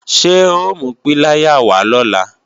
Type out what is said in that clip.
Ṣé o mú píláyà wá lọ̀la?